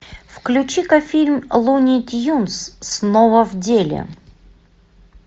включи ка фильм луни тюнз снова в деле